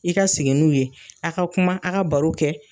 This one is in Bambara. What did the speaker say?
I ka sigin n'u ye a ka kuma a ka baro kɛ